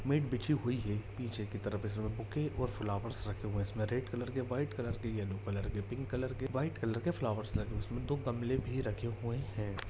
Mat बिच्छी हुई है निचे की तरफ इसमें बूके और फ्लावर्स रखे हुए है जिसमे में रेड कलर के वाइट कलर के येलो कलर के पिंक कलर के वाइट कलर के फ्लावर्स रखे हुए उसमें दो गमले भी रखे हुए है ।